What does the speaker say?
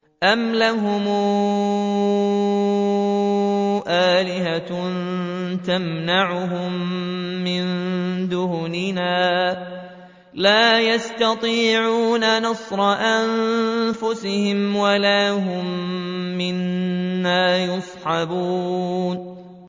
أَمْ لَهُمْ آلِهَةٌ تَمْنَعُهُم مِّن دُونِنَا ۚ لَا يَسْتَطِيعُونَ نَصْرَ أَنفُسِهِمْ وَلَا هُم مِّنَّا يُصْحَبُونَ